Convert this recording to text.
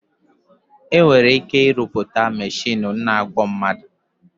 Enwere ike irụta mechinu na-agwo mmadụ